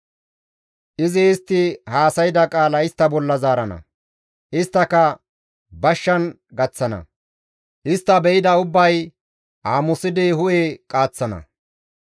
Izi istti haasayda qaala istta bolla zaarana; isttaka bashshan gaththana; istta be7ida ubbay aamusidi hu7e qaaththana.